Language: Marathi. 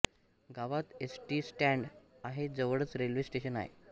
गावात एस टी स्टॅड आहे जवळच रेल्वे स्टेशन आहे